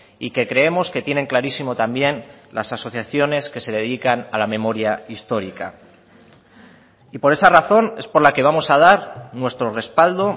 y que creemos que tienen clarísimo también las asociaciones que se dedican a la memoria histórica y por esa razón es por la que vamos a dar nuestro respaldo